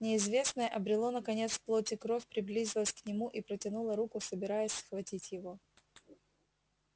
неизвестное обрело наконец плоть и кровь приблизилось к нему и протянуло руку собираясь схватить его